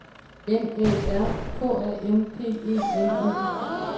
N Æ R K A M P E N E